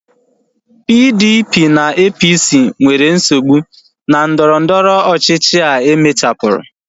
PDP na APC nwere nsogbu na ndọrọndọrọ ọchịchịa emechapuru